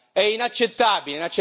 È inaccettabile!